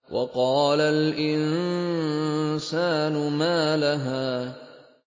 وَقَالَ الْإِنسَانُ مَا لَهَا